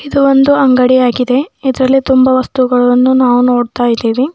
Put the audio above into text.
ಇದು ಒಂದು ಅಂಗಡಿ ಯಾಗಿದೆ ಇದರಲ್ಲಿ ತುಂಬಾ ವಸ್ತುಗಳನ್ನು ನಾವು ನೋಡ್ತಾ ಇದ್ದೇವೆ.